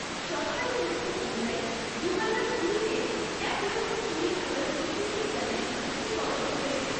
সরকারী তথ্য অনুযায়ী, দুহাজার কুড়িতে এক লক্ষ, কুড়ি হাজার বৈদ্যুতিক যানের নথিকরণ হয়েছে।